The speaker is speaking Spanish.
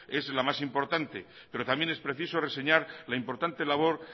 es la más importante pero también es preciso reseñar la importante labor